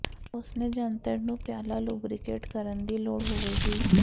ਉਸ ਨੇ ਜੰਤਰ ਨੂੰ ਪਿਆਲਾ ਲੁਬਰੀਕੇਟ ਕਰਨ ਦੀ ਲੋੜ ਹੋਵੇਗੀ